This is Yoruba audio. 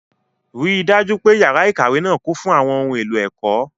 Rí i dájú pé yàrá ìkàwé náà kún fún àwọn ohun èlò ẹ̀kọ́.